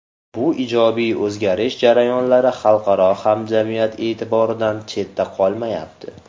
Bu ijobiy o‘zgarish jarayonlari xalqaro hamjamiyat e’tiboridan chetda qolmayapti.